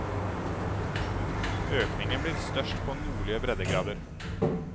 Økningen blir størst på nordlige breddegrader.